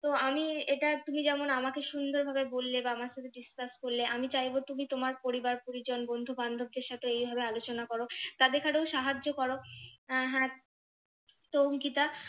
তো আমি এটা তুমি যেমন আমাকে সুন্দর ভাবে বললে, বা আমার সাথে discuss করলে, আমি চাইবো তুমি তোমার পরিবার, পরিজন, বন্ধু বান্ধবদের সাথে এইভাবে আলোচনা করো তাদেরকে আরও সাহায্য করো আহ হ্যাঁ তো অংকিতা